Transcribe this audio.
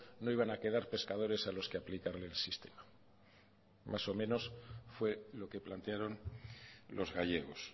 no iban a quedar pescadores a los que aplicarle el sistema más o menos fue lo que plantearon los gallegos